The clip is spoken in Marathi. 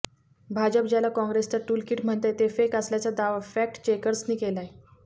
भाजप ज्याला काँग्रेसचं टूलकिट म्हणतंय ते फेक असल्याचा दावा फॅक्टचेकर्सनी केलाय